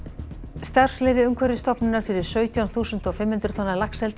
starfsleyfi Umhverfisstofnunar fyrir sautján þúsund og fimm hundruð tonna laxeldi í